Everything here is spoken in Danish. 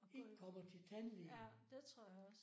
Og går i ja det tror jeg også